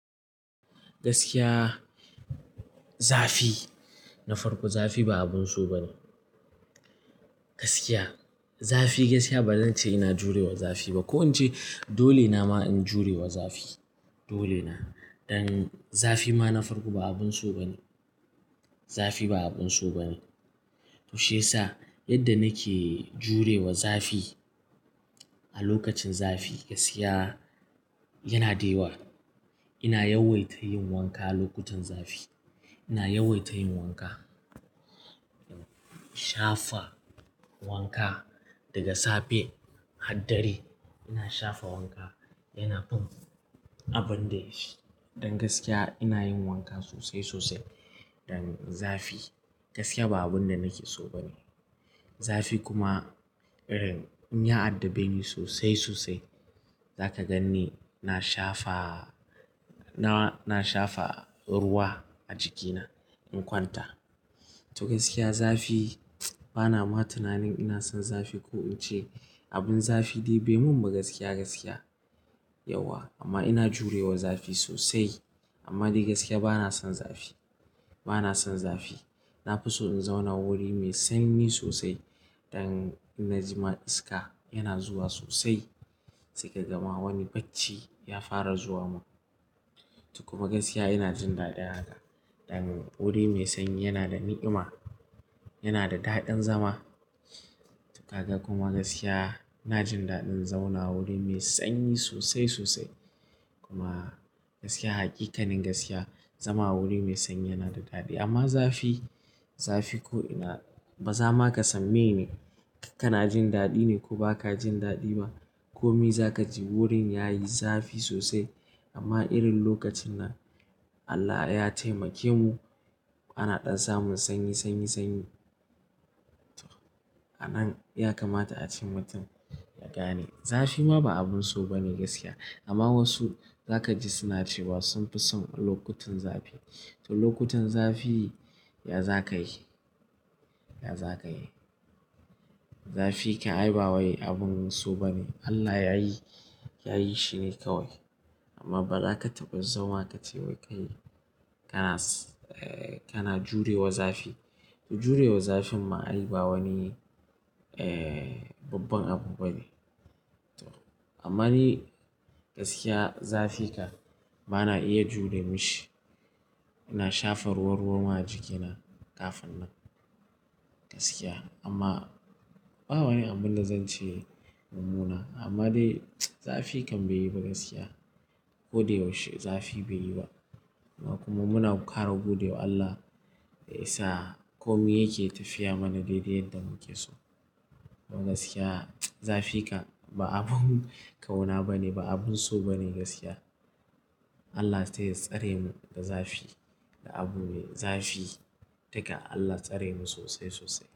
Gaskiya zafi na farko zafi ba abun so ba ne. Gaskiya zafi gaskiya ba zan ce ina jurewa zafi ba. Ko in ce dole na ma in jurewa zafi dole na. Dan zafi ma na farko ba abun so ba ne. Zafi ba abun so ba ne. To shiyasa yadda nake jurewa zafi a lokacin zafi gaskiya yana dewa. Ina yawaita yin wanka lokutan zafi. Ina yawaita yin wanka. Shafa wanka daga safe har dare. Ina shafa wanka yana fin abun da shi. Dan gaskiya ina yin wanka sosai sosai. Dan zafi gaskiya ba abun da nake so ba ne. Zafi kuma irin in ya addabe ni sosai sosai. Zaka gan ni na shafa, na shafa ruwa a jikina in kwanta. To gaskiya zafi bana ma tunanin ina son zafi ko in ce abun zafi dai bai mun ba gaskiya, gaskiya yauwa. Amma ina jurewa zafi sosai. Amma dai gaskiya bana son zafi. Bana son zafi. Na fi so in zauna wuri mai sanyi sosai. Dan in na ji ma iska yana zuwa sosai. Sai ka ga ma wani bacci ya fara zuwa mun. To kuma gaskiya ina jin daɗin haka. Dan wuri mai sanyi yana da ni'ima, yana da daɗin zama. Kaga kuma gaskiya ina jin daɗin zauna wuri mai sanyi sosai sosai. Kuma gaskiya hakikanin gaskiya zama wuri mai sanyi yana da daɗi. Amma zafi, zafi ko ina bazawa ka san mene ka kana jin daɗi ne ko ba ka jin daɗi ba. Komi za ka ji wurin yayi zafi sosai. Amma irin lokacin nan Allah ya taimake mu ana ɗan zamon sanyi, sanyi, sanyi. A nan ya kamata a ce mutum ya gane zafi ma ba abun so ba ne gaskiya. Amma wasu za ka ji suna cewa sun fi son lokutan zafi. To lokutan zafi ya za ka yi, ya za ka yi. Zafi kan ai ba wai abun so ba ne. Allah yayi, yayi shi ne kawai. Amma ba za ka taɓa zama ka ce wai kai kana, kana jurewa zafi. To jurewa zafin ma ai ba wani babban abu ba ne. Amma ni gaskiya zafi kan bana iya jure mishi. Ina shafa ruwa-ruwa ma jikina kafin nan gaskiya. Amma ba wani abunda zan ce mumuna. Amma dai zafi kan bai yi ba gaskiya. Ko da yaushe zafi bai yi ba. Amma kuma muna kara gode wa Allah da yasa komai yake tafiya mana daidai yadda muke so. To gaskiya zafi kan ba abun ƙauna ba ne ba abun so ba ne gaskiya. Allah ta ya tsare mu da zafi, da abu me zafi. Dukka Allah tsare mu sosai sosai.